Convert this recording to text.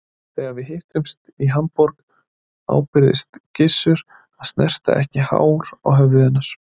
Þegar við hittumst í Hamborg ábyrgðist Gizur að snerta ekki hár á höfði hennar.